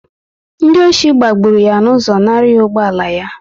Ndị ọchị gbagburu ya n'ụzọ nara ya ụgbọala yá